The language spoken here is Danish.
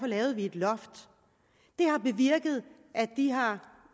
lavede vi et loft det har bevirket at de har